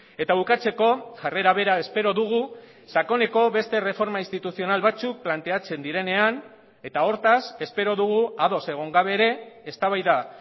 eta bukatzeko jarrera bera espero dugu sakoneko beste erreforma instituzional batzuk planteatzen direnean eta hortaz espero dugu ados egon gabe ere eztabaida